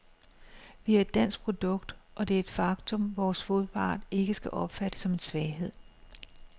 Vi er et dansk produkt, og det er et faktum, vores modpart ikke skal opfatte som en svaghed.